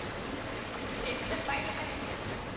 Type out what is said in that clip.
हे season पाहिलं का नाही मग तुम्ही?